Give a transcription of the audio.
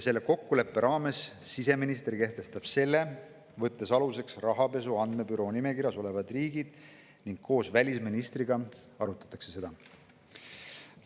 Selle kokkuleppe raames siseminister kehtestab selle, võttes aluseks Rahapesu Andmebüroo nimekirjas olevad riigid, ning seda arutatakse koos välisministriga.